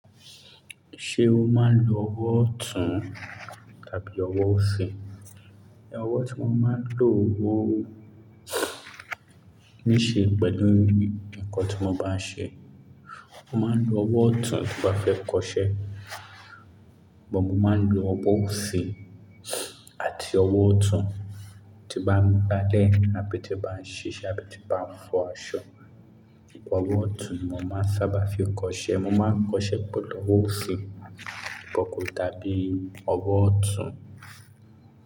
Ṣé o máa ń lo ọwọ́ ọ̀tún tàbí ọwọ́ òsì? Ẹ̀wọ́ tí mo máa ń lò wo ní ṣe pẹ̀lú nǹkan tí mo bá ń ṣe. Mo máa ń lo ọwọ́ ọ̀tún bí mo bá fẹ́ kọṣẹ́, bo mo máa ń lo ọwọ́ òsì àti ọwọ́ ọ̀tún tí bá ń gbá lẹ̀ àbí tí bá ń ṣiṣẹ́ àbí tí bá ń fọ aṣọ. Ọwọ́ ọ̀tún ni mo máa ń sábà fi kọṣẹ́, mo máa ń kọṣẹ́ pẹ̀lú ọwọ́ òsì kankan tàbí ọwọ́ ọ̀tún.